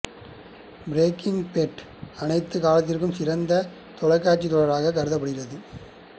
braking bad அனைத்துக் காலத்திற்கும் சிறந்த தொலைக்காட்சித் தொடராக கருதப்படுகின்றது